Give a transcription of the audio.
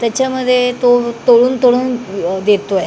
त्याच्यामध्ये तो तळून तळून देतोय.